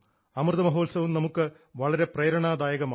അമൃതമഹോത്സവം നമുക്ക് വളരെ പ്രേരണാദായകമാണ്